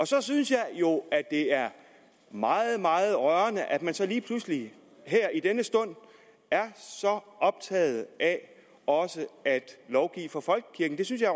så synes jeg jo at det er meget meget rørende at man så lige pludselig her i denne stund er så optaget af også at lovgive for folkekirken det synes jeg